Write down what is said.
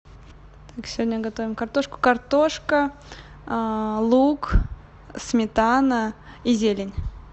так сегодня готовим картошку картошка лук сметана и зелень